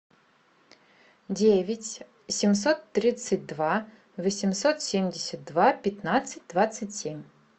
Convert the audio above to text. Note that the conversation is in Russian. девять семьсот тридцать два восемьсот семьдесят два пятнадцать двадцать семь